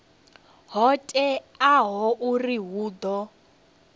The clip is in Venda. ho teaho uri hu ḓo